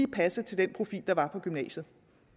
passer til den profil der er på gymnasiet